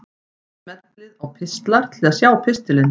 Smellið á Pistlar til að sjá pistilinn.